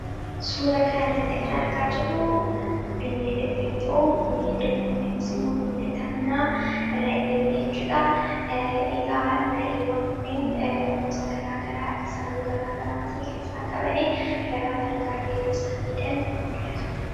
Kan asirratti argaa jirru bineeldota manaa kan ta'an ra'eedha. Ra'een kunneen faayidaa madaalamuu hin dandeenye fi bakka bu’iinsa hin qabne qabu.